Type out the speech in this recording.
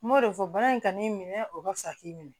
N m'o de fɔ bana in kan'i minɛ o ka fisa k'i minɛ